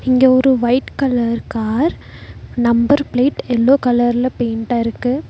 இங்க ஒரு white colour car number plate yellow கலர்ல பெயிண்ட்டாருக்கு .